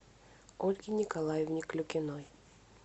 ольге николаевне клюкиной